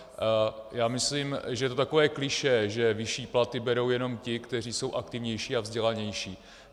Já myslím, že to je takové klišé, že vyšší platy berou jenom ti, kteří jsou aktivnější a vzdělanější.